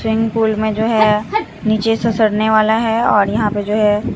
Swing पुल में जो है नीचे ससरने वाला है और यहां पे जो है।